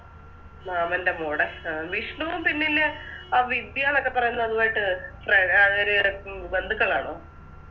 മാമൻറെ മോടെ ആ വിഷ്ണു പിന്നെ നിൻറെ ആ വിദ്യാന്നൊക്കെ പറയുന്നേ അതുവായിട്ട് ഫ്ര അവര് ബന്ധുക്കളാണോ